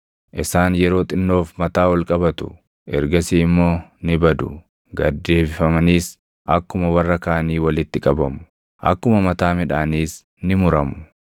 Isaan yeroo xinnoof mataa ol qabatu; ergasii immoo ni badu; gad deebifamaniis akkuma warra kaanii walitti qabamu; akkuma mataa midhaaniis ni muramu.